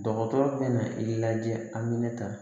Dɔgɔtɔrɔ bɛ na i lajɛ a bɛ ne ta